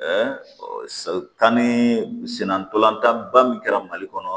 kan ni senna ntolantanba min kɛra mali kɔnɔ